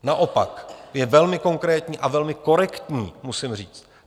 Naopak, je velmi konkrétní a velmi korektní, musím říct.